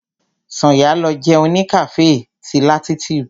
Sànyà lọ jẹun ní cafe ti latitude.